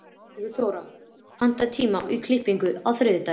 Sigurþóra, pantaðu tíma í klippingu á þriðjudaginn.